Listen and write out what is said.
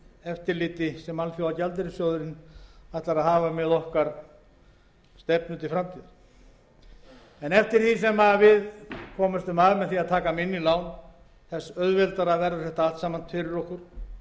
eftirliti sem alþjóðagjaldeyrissjóðurinn ætlar að hafa með stefnu okkar til framtíðar en eftir því sem við komumst af með því að taka minni lán þeim mun auðveldara verður þetta allt saman fyrir okkur